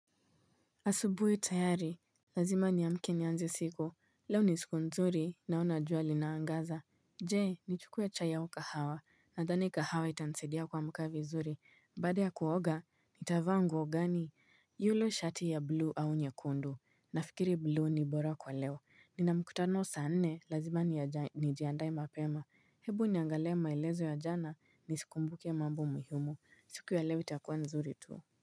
Asubuhi tayari Lazima niamke nianze siku Leo ni siku nzuri naona juwa linaangaza Jee nichukue chai hao kahawa nadhani kahawa itanisaidia kuamuka vizuri baada ya kuoga nitavaa nguo gani yule shati ya blue au nyekundu Nafikiri blue ni bora kwa leo Nina mkutano saa nne lazima nijiandae mapema Hebu niangalie maelezo ya jana nisikumbuke mambo muhimu siku ya leo itakuwa nzuri tuu.